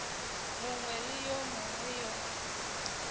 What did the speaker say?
mongwe le yo mongwe yo